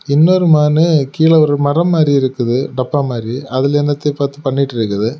இன்னொரு மானு கீழ ஒரு மரம் மாதிரி இருக்குது டப்பா மாரி அதுல என்னத்தையோ பார்த்து பண்ணிட்ருக்குது.